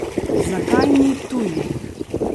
Zakaj ni tujih?